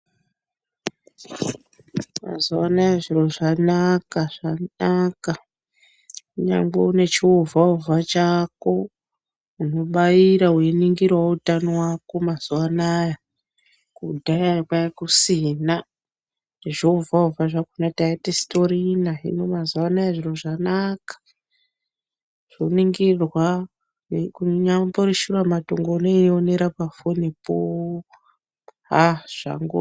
Mazuva anaya zviro zvanaka zvanaka kunyangwe une chiovha-ovha chako unobaira veiningiravo utano vako mazuva anaya. Kudhaya kwakusina zviovha-ovhe zvakona tatisitorina hino mazuva anaya zviro zvanaka. Zvoningirwa kunyambori shuramatongo unoionera pafonipo haa zvango.